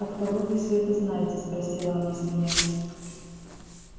от кого вы всё это знаете спросила она смеясь